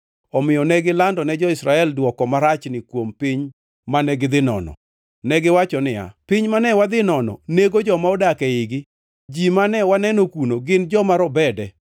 Omiyo ne gilandone jo-Israel dwoko marachni kuom piny mane gidhi nono. Negiwacho niya, “Piny mane wadhi nono nego joma odak eigi. Ji mane waneno kuno gin joma robede.